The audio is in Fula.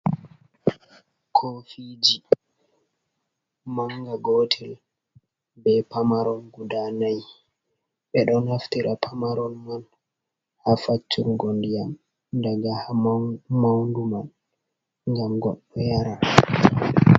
Kofiji, Manga Gotel be Pamarol Guda nai ɓedon Naftira Pamarol Man ha Faccungo Ndiyam daga ha Maundu man Ngam Goɗɗo yara.